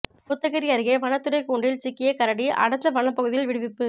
கோத்தகிரி அருகே வனத்துறை கூண்டில் சிக்கிய கரடி அடர்ந்த வனப்பகுதியில் விடுவிப்பு